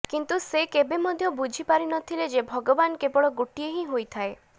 କିନ୍ତୁ ସେ କେବେ ମଧ୍ୟ ବୁଝି ପାରି ନଥିଲେ ଯେ ଭଗବାନ କେବଳ ଗୋଟିଏ ହିଁ ହୋଇଥାଏ